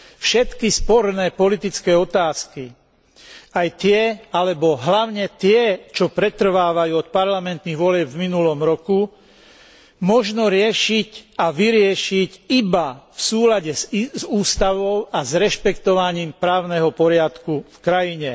Všetky sporné politické otázky, aj tie, alebo hlavne tie, čo pretrvávajú od parlamentných volieb v minulom roku, možno riešiť a vyriešiť iba v súlade s ústavou a s rešpektovaním právneho poriadku v krajine.